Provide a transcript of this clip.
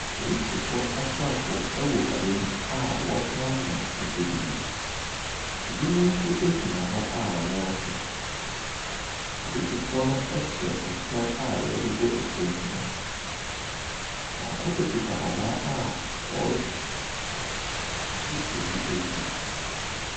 Aporisifoɔ asrafoɔ wɔ kurow a wɔrepampam nnipa binom. Binom nso gyina hɔ a wɔrehwɛ. Apolisifoɔ no hyɛ kyɛw a yɛde ti ho ban. Baako bi kita abaa a ɔrehwe obi akyi.